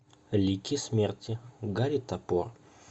лики смерти гарри топор